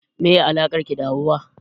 Meye alakar ki da Hauwa?